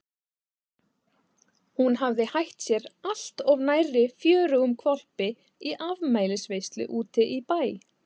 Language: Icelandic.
Hún hafði hætt sér allt of nærri fjörugum hvolpi í afmælisveislu úti í bæ.